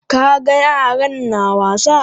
Ka ga yaran na wasa?